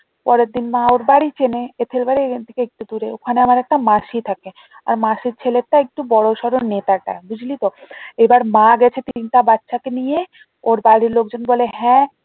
পরের দিন মা ওর বাড়ি চেনে বাড়ি এখান থেকে একটু দূরে ওখানে আমার একটা মাসি থাকে আর মাসির ছেলেটা একটু বড়ো সরো নেতাটা বুঝলি তো এবার মা গেছে তিনটা বাচ্চাকে নিয়ে ওর বাড়ির লোকজন বলে হ্যাঁ